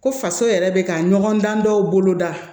Ko faso yɛrɛ bɛ ka ɲɔgɔn dan dɔw boloda